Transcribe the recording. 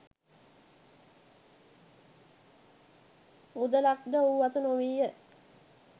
මුදලක් ද ඔහු අත නොවීය